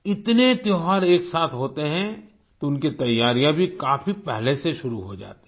इतने त्योहार एक साथ होते हैं तो उनकी तैयारियाँ भी काफी पहले से शुरू हो जाती हैं